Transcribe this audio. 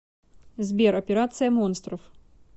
сбер операция монстров